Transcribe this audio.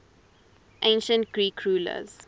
ancient greek rulers